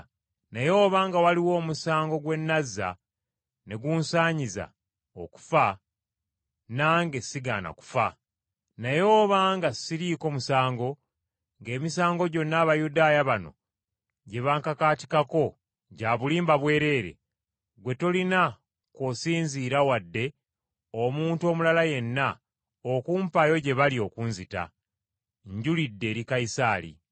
Naye obanga waliwo omusango gwe nazza, ne gunsaanyiza okufa, nange sigaana kufa! Naye obanga siriiko musango, ng’emisango gyonna Abayudaaya bano gye bankakaatikako gya bulimba bwereere, ggwe tolina kw’osinziira wadde omuntu omulala yenna, okumpaayo gye bali okunzita. Njulidde eri Kayisaali.”